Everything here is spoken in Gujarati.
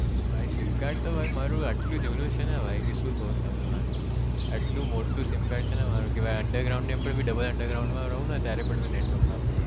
ભાઈ sim card તો મારું એટલું જુનું છે ને ભાઈ શું કહું તને એટલું મોટું sim card છે મારું ભાઈ under ground ની ઉપર ભી double under ground માં રહું ને ત્યારે પણ network આવે